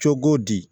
Cogo di